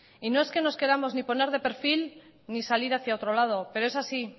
y no es que nos queramos ni poner de perfil ni salir hacia otro lado pero es así